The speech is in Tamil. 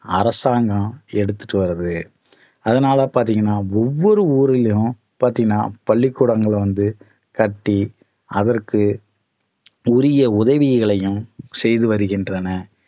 அரசாங்கம் எடுத்துட்டு வருது அதனால பாத்தீங்கனா ஒவ்வொரு ஊரிலும் பார்த்தீங்கனா பள்ளிக்கூடங்கள வந்து கட்டி அதற்கு உரிய உதவிகளையும் செய்து வருகின்றன